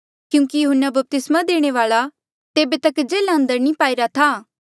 क्यूंकि यहून्ना बपतिस्मा देणे वाल्ऐ तेबे तक जेल्हा अंदर नी पाईरा था